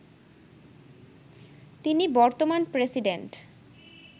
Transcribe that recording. তিনি বর্তমান প্রেসিডেন্ট